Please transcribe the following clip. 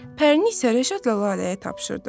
Pərini isə Rəşadla Laləyə tapşırdı.